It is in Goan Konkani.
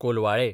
कोलवाळे